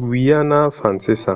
guaiana francesa